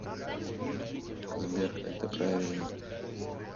сбер это правильно